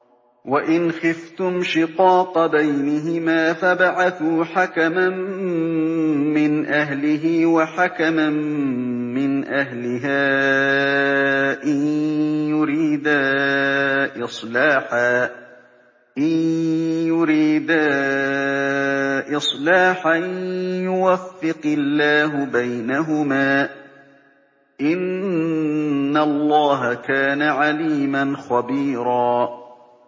وَإِنْ خِفْتُمْ شِقَاقَ بَيْنِهِمَا فَابْعَثُوا حَكَمًا مِّنْ أَهْلِهِ وَحَكَمًا مِّنْ أَهْلِهَا إِن يُرِيدَا إِصْلَاحًا يُوَفِّقِ اللَّهُ بَيْنَهُمَا ۗ إِنَّ اللَّهَ كَانَ عَلِيمًا خَبِيرًا